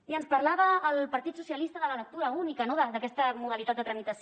i ens parlava el partit dels socialistes de la lectura única no d’aquesta modalitat de tramitació